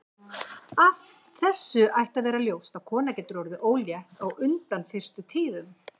Af þessu ætti að vera ljóst að kona getur orðið ólétt á undan fyrstu tíðum.